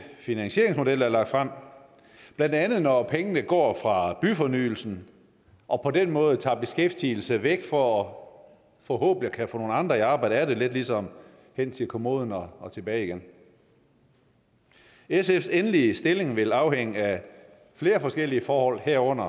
finansieringsmodel der er lagt frem blandt andet når pengene går fra byfornyelsen og på den måde tager beskæftigelse væk for forhåbentlig at kunne få andre i arbejde af det lidt ligesom hen til kommoden og tilbage igen sfs endelige stilling vil afhænge af flere forskellige forhold herunder